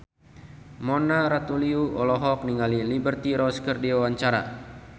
Mona Ratuliu olohok ningali Liberty Ross keur diwawancara